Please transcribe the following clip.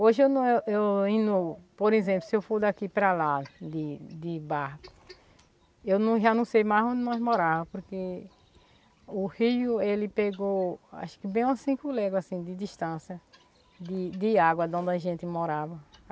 Hoje eu não, eu indo, por exemplo, se eu for daqui para lá de de barco, eu já não sei mais onde nós moráva, porque o rio, ele pegou, acho que bem a cinco legas, assim, de distância de de água de onde a gente morava.